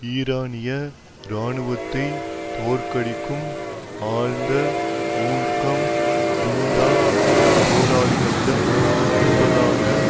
ஈரானிய இராணுவத்தை தோற்கடிக்கும் ஆழ்ந்த ஊக்கம் ஜுண்டாப் போராளிகளிடம் இருப்பதாக